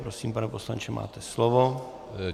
Prosím, pane poslanče, máte slovo.